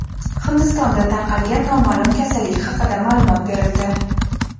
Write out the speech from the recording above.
Hindistonda tarqalgan noma’lum kasallik haqida ma’lumot berildi.